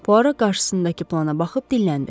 Puara qarşısındakı plana baxıb dinləndi.